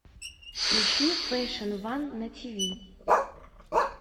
ищи фэшн ван на тв